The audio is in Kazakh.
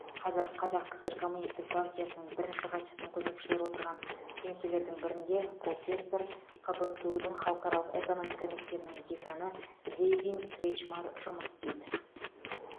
қазір қазақ кср коммунистік партиясының бірінші хатшысының көмекшілері отырған кеңселердің бірінде профессор қбту дың халықаралық экономика мектебінің деканы гэйвин кретчмар жұмыс істейді